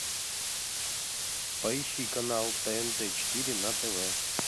поищи канал тнт четыре на тв